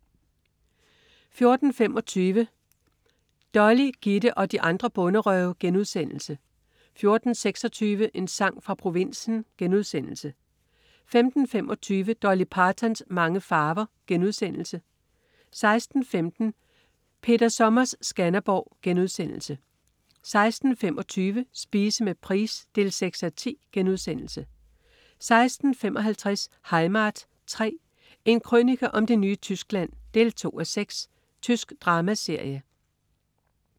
14.25 Dolly, Gitte og de andre bonderøve* 14.26 En sang fra provinsen* 15.25 Dolly Partons mange farver* 16.15 Peter Sommers Skanderborg* 16.25 Spise med Price 6:10* 16.55 Heimat 3. En krønike om det nye Tyskland 2:6. Tysk dramaserie